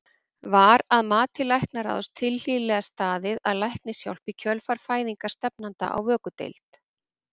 Var að mati læknaráðs tilhlýðilega staðið að læknishjálp í kjölfar fæðingar stefnanda á vökudeild?